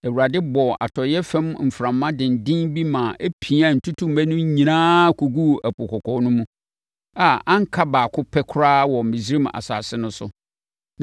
Awurade bɔɔ atɔeɛ fam mframa denden bi ma ɛpiaa ntutummɛ no nyinaa kɔguu Ɛpo Kɔkɔɔ no mu, a anka ɔbaako pɛ koraa wɔ Misraim asase no so.